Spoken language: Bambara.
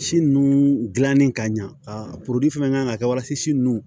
Si nun dilannen ka ɲɛ a fɛn kan ka kɛ walasa si nun